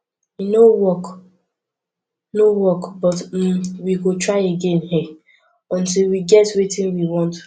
e no work no work but um we go try again um until we get wetin we want